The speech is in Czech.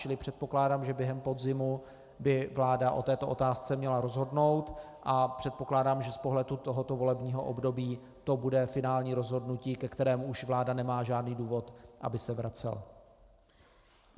Čili předpokládám, že během podzimu by vláda o této otázce měla rozhodnout, a předpokládám, že z pohledu tohoto volebního období to bude finální rozhodnutí, ke kterému už vláda nemá žádný důvod, aby se vracela.